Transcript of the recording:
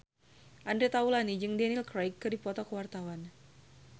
Andre Taulany jeung Daniel Craig keur dipoto ku wartawan